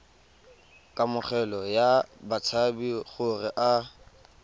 kamogelo ya batshabi gore a